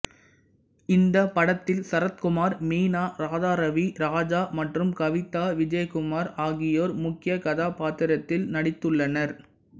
இந்த படத்தில் சரத்குமார் மீனா ராதாராவி ராஜா மற்றும் கவிதா விஜயகுமார் ஆகியோர் முக்கியக் கதாப்பாத்திரத்தில் நடித்துள்ளனர்